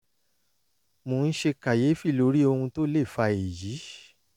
mò ń ṣe kàyéfì lórí ohun tó lè fa èyí